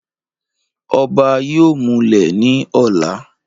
ọba yóò múlẹ̀ ní ọ̀la